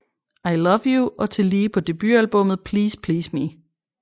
I Love You og tillige på debutalbummet Please Please Me